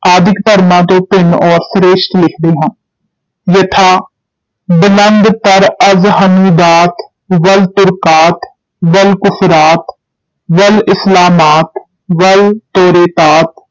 ਆਦਿਕ ਧਰਮਾਂ ਤੋਂ ਭਿੰਨ ਔਰ ਸ੍ਰੇਸ਼ਟ ਲਿਖਦੇ ਹਨ, ਯਥਾ ਬਲੰਦ ਤਰ ਅਜ਼ ਹਨੂਦਾਤ ਵਲ ਤੁਰਕਾਤ, ਵਲ ਕੁਫ਼ਰਾਤ, ਵਲ ਇਸਲਾਮਾਤ, ਵਲ ਤੌਰੇਤਾਤ,